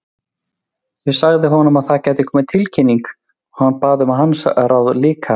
Ég sagði honum að það gæti komið tilkynning, og bað hann um hans ráð líka.